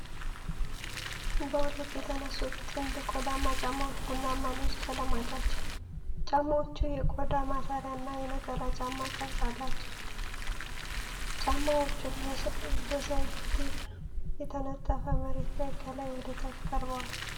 በሁለት የተነሱት ጥንድ ቆዳማ ጫማዎች ቡናማና ነጭ ቀለማት አላቸው። ጫማዎቹ የቆዳ ማሰሪያና የነጠላ ጫማ ቅርጽ አላቸው። ጫማዎቹ በሰድር በተነጠፈ መሬት ላይ ከላይ ወደ ታች ቀርበዋል።